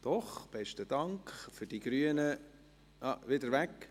Doch, die Grünen – nein, es ist wieder weg.